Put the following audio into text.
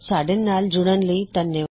ਸਾਡੇ ਨਾਲ ਜੁੜਨ ਲਈ ਧੰਨਵਾਦ